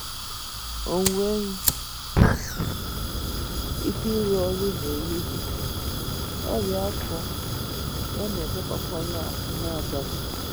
O nwegh ike ịrụ ọrụ n’ehihie,, ọrịa afọ: ya na- emekpakwa ya ahụ́ n’abalị.